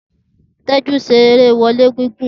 Teju ṣe ere wọle gigun.